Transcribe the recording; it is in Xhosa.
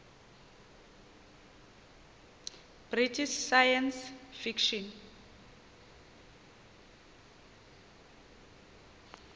british science fiction